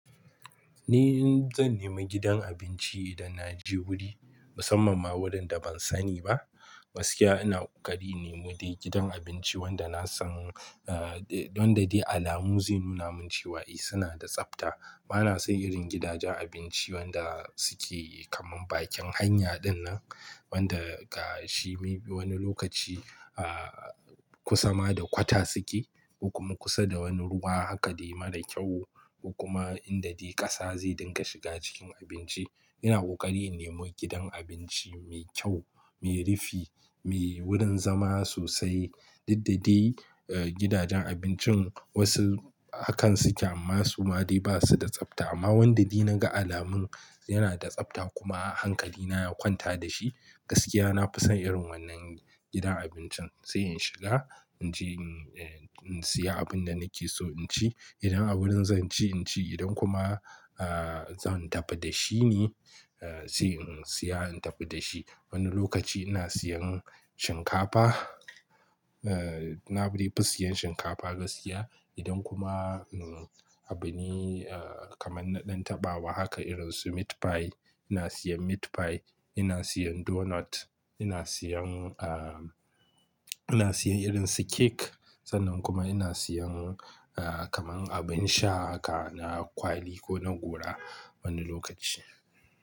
Ni zan nemi gidan abinci idan na je wuri, musamman ma wurin da ban sani ba. Gaskiya ina ƙoƙari in nemi dai gidan abinci wanda na san, eh, wanda dai alamu zai nuna mun cewa eh suna da tsafta. Bana son irin gidajen abinci wanda suke kaman bakin hanya dinnan, wanda ga shi wani lokaci, ah, kusa ma da kwata suke, kuma kusa da wani ruwa haka dai mara kyau. Kuma inda dai ƙasa zai dinga shiga cikin abinci. Ina ƙoƙari nemi gidan abinci mai kyau, mai rufi, mai wurin zama sosai. Didda dai gidajen abincin wasu hakan suke amma su ma dai ba su da tsafta. Amma wanda dai na ga alamun yana da tsafta kuma hankali na ya kwanta da shi, gaskiya na fi son irin wannan gidan abincin. Sai in shiga, in je in siya abin da nake so in ci. Idan a wurin zan ci in ci, idan kuma, ah, zan tafi da shi ne, eh, sai in siya in tafi da shi. Wani lokaci ina siyan shinkafa, eh, na dai fi siyan shinkafa gaskiya. Idan kuma, uhm, abin, ah, kaman na ɗan taɓawa haka irin su meat pie, ina siyan meat pie, ina siyan donut, ina siyan, ah, ina siyan irin su cake. Sannan kuma ina siyan, ah, kaman abin sha haka na kwali ko na gora wani lokaci.